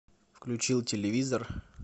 включил телевизор